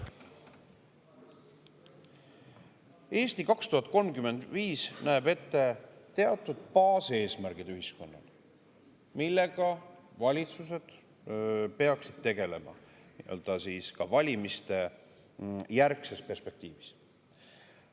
"Eesti 2035" näeb ühiskonnale ette teatud baaseesmärgid, millega valitsused peaksid tegelema, ka valimistejärgses perspektiivis.